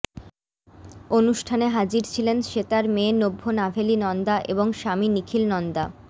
অনুষ্ঠানে হাজির ছিলেন শ্বেতার মেয়ে নভ্য নাভেলি নন্দা এবং স্বামী নিখিল নন্দা